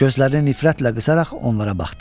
Gözlərini nifrətlə qısaraq onlara baxdı.